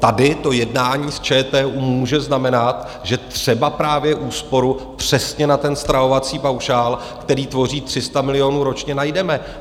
Tady to jednání s ČTÚ může znamenat, že třeba právě úsporu přesně na ten stravovací paušál, který tvoří 300 milionů ročně, najdeme.